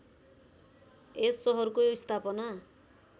यस सहरको स्‍थापना